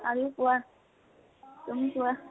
আৰু কোৱা । তুমি কোৱা